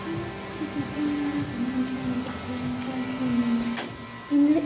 అణా ఈ చిత్రం ద్వారా గమనించ గమనించవల్సింది ఏంటంటే ఇందులో--